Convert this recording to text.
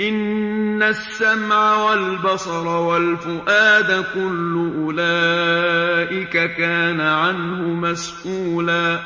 إِنَّ السَّمْعَ وَالْبَصَرَ وَالْفُؤَادَ كُلُّ أُولَٰئِكَ كَانَ عَنْهُ مَسْئُولًا